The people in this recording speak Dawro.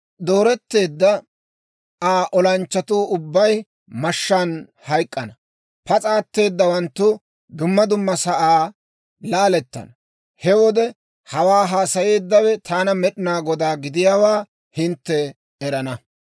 Dooretteedda Aa olanchchatuu ubbay mashshaan hayk'k'ana; pas'a atteedawanttu duma duma sa'aa laalettana. He wode hawaa haasayeeddawe taana Med'inaa Godaa gidiyaawaa hintte erana.